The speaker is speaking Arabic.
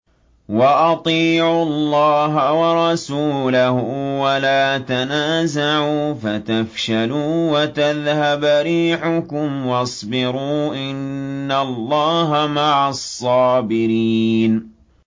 وَأَطِيعُوا اللَّهَ وَرَسُولَهُ وَلَا تَنَازَعُوا فَتَفْشَلُوا وَتَذْهَبَ رِيحُكُمْ ۖ وَاصْبِرُوا ۚ إِنَّ اللَّهَ مَعَ الصَّابِرِينَ